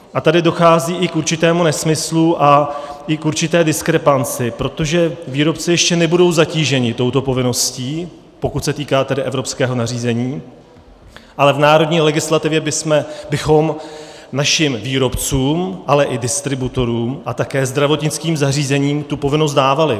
A tady dochází i k určitému nesmyslu a i k určité diskrepanci, protože výrobci ještě nebudou zatíženi touto povinností, pokud se týká tedy evropského nařízení, ale v národní legislativě bychom našim výrobcům, ale i distributorům a také zdravotnickým zařízením tu povinnost dávali.